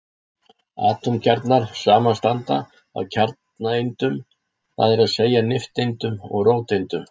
Atómkjarnar samanstanda af kjarnaeindum, það er að segja nifteindum og róteindum.